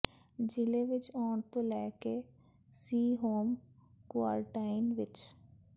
ਜ਼ਿਲ੍ਹੇ ਵਿੱਚ ਆਉਣ ਤੋਂ ਲੈ ਕੇ ਸੀ ਹੋਮ ਕੁਆਰਨਟਾਈਨ ਵਿੱਚ